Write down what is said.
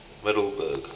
middelburg